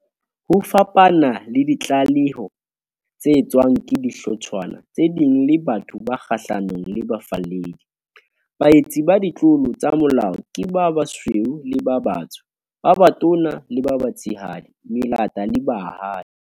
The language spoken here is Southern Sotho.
Ho fapana le ditlaleho tse etswang ke dihlotshwana tse ding le batho ba kgahlanong le bafalledi, baetsi ba ditlolo tsa molao ke ba basweu le ba batsho, ba batona le ba batshehadi, melata le baahi.